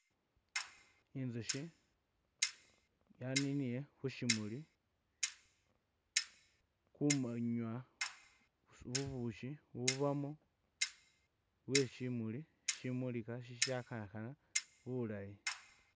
Intsushi yaninile khu shimuli khunywa bubushi bubamo bweshimuli shimulikha shishakhakha bulayi.